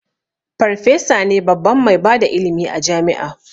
Farfesa ne babban mai bada ilimi a jami'a